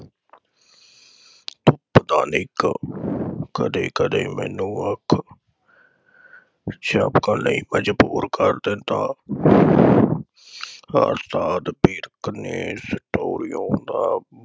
ਪਤਾ ਨਹੀ ਕਬ ਕਦੇ ਕਦੇ ਮੈਨੂੰ ਅੱਖ ਝਪਕਣ ਲਈ ਮਜਬੂਰ ਕਰ ਦਿੰਦਾ। ਦਾ